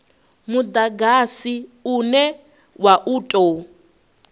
mudagasi une wa u tou